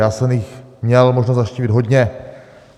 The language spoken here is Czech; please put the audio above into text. Já jsem jich měl možnost navštívit hodně.